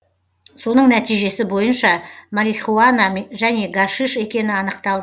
соның нәтижесі бойынша марихуана және гашиш екені анықталды